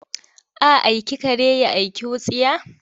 A aiki kare ya aiki wutsiya?